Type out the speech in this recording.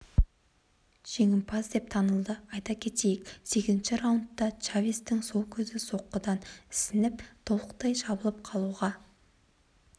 жеңімпаз деп танылды айта кетейік сегізінші раундта чавестің сол көзі соққыдан ісініп толықтай жабылып қалуға